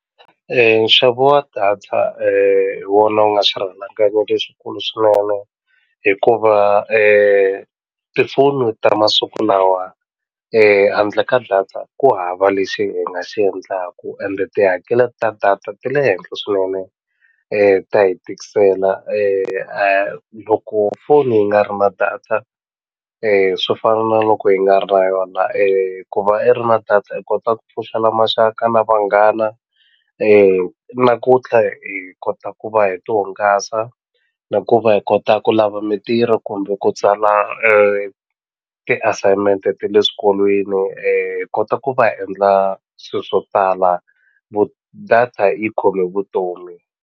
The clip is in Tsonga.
Nxavo wa data hi wona wu nga swirhalanganyi lexikulu swinene hikuva tifoni ta masiku lawa handle ka data ku hava lexi hi nga xi endlaku ende tihakele ta data ti le henhle swinene ta hi tikisela loko foni yi nga ri na data swi fana na loko yi nga ri na yona ku va i ri na data i kota ku pfuxela maxaka na vanghana na ku tlha hi kota ku va hi ti hungasa na ku va hi kota ku lava mintirho kumbe ku tsala ti-assignment ta le swikolweni hi kota ku va endla swilo swo tala data yi khome vutomi.